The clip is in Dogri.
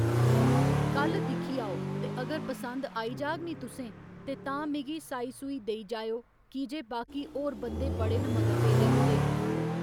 कल दिक्खी आओ ते अगर पसन्द आई जाह्‌ग नी तुसें ते तां मिगी साई सुई देई जाएओ की जे बाकी होर बंदे बड़े न मगर पेदे ओह्दे